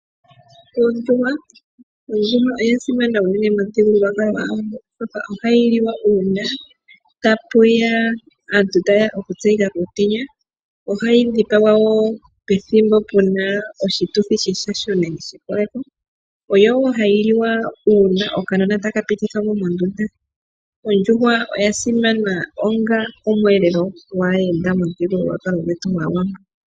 Ondjuhwa Ondjuhwa oya simana unene momuthigululwakalo gwaawambo, oshoka ohayi liwa uuna tapu ya aantu taye ya oku tseyika kuutenya. Ohayi dhipagwa wo pethimbo puna oshituthi sheshasho nenge shekoleko. Oyo wo hayi liwa uuna okanona taka pitithwa mo mondunda. Ondjuhwa oya simana onga omweelelo gwaayenda momuthigululwakalo gwetu gwaawambo.